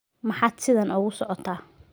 Maxaad sidan ugu socotaa?